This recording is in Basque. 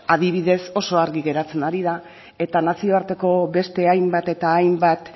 adibidez oso argi geratzen ari da eta nazioarteko beste hainbat eta hainbat